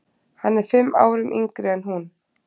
Hann er fimm árum yngri en hún.